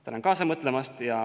Tänan kaasa mõtlemast!